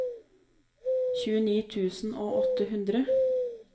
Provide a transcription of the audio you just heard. tjueni tusen og åtte hundre